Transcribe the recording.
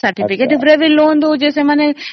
certificate ଉପରେ ବି loan ଦେଉଛି ମାନେ